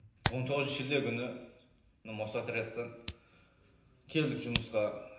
он тоғызыншы шілде күні мостотрядтан келдік жұмысқа